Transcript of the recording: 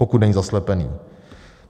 Pokud není zaslepený.